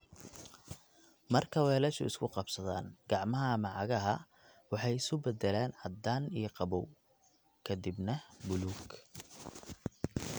Marka weelashu isku qabsadaan, gacmaha ama cagaha waxay isu beddelaan caddaan iyo qabow, ka dibna buluug.